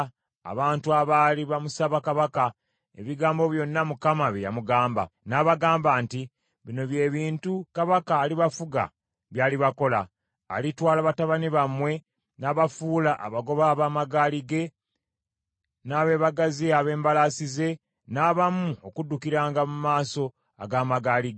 N’abagamba nti, “Bino bye bintu kabaka alibafuga by’alibakola: alitwala batabani bammwe n’abafuula abagoba ab’amagaali ge n’abeebagazi ab’embalaasi ze, n’abamu okuddukiranga mu maaso ag’amagaali ge.